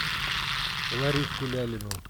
лариску лялину